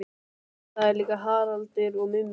Nei það er líka Haraldur og Mummi.